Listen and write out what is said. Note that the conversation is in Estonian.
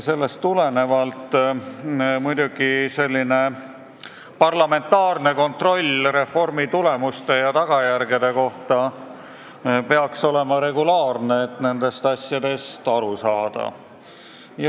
Muidugi parlamentaarne kontroll reformi tulemuste ja tagajärgede kohta peaks olema regulaarne, et nendest asjadest aru saada.